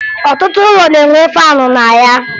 Ọtụtụ ụlọ na-enwe faanụ na ya